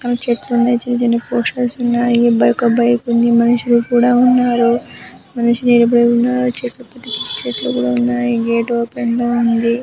పక్కన చెట్లున్నాయ్. చిన్న చిన్న పోస్టర్స్ ఉన్నాయి. బైక ఒక బైక్ ఉంది మనుషులు కూడా ఉన్నారు. మనిషి నిలబడి ఉన్నారు. చెట్లు కూడా ఉన్నాయి. గేట్ ఓపెన్ లో ఉంది.